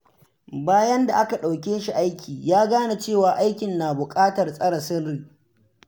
Bayan da aka ɗauke shi aiki, ya gane cewa aikin na buƙatar tsare sirri.